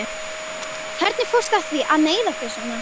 Hvernig fórstu að því að meiða þig svona?